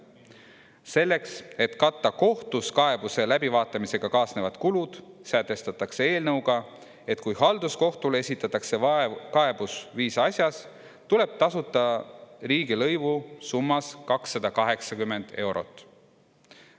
Selleks, et katta kohtus kaebuse läbivaatamisega kaasnevad kulud, sätestatakse eelnõuga, et kui halduskohtule esitatakse kaebus viisa asjas, tuleb tasuda riigilõivu summas 280 eurot.